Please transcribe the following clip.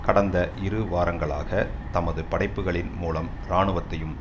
கடந்த இரு வாரங்களாக தமது படைப்புக்களின் மூலம் இராணுவத்தையும்